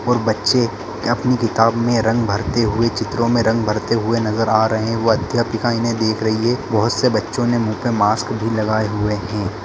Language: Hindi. और बच्चे अपनी किताब में रंग भरते हुए चित्रों में रंग भरते हुए नजर आ रहें हैं वो अध्यापिका इन्हें देख रही है बहुत से बच्चों ने मुँह पर मास्क भी लगाई हुए हैं।